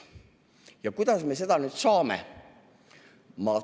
Ja kuidas me seda nüüd saame?